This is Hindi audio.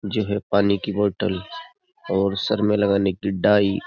जो है पानी की बोतल और सर में लगाने की डाई --